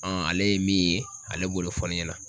ale ye min ye, ale b'o de fɔ ne ɲɛna.